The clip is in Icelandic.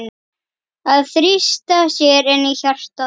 Að þrýsta sér inn í hjartað.